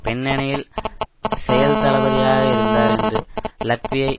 பின்னணியில் செயல்தளபதியாக இருந்தார் என்று லக்வியை